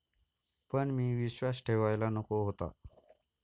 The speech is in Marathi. पण मी विश्वास ठेवायला नको होता.